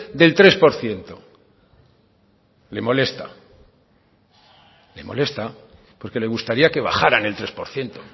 del tres por ciento le molesta le molesta porque le gustaría que bajaran el tres por ciento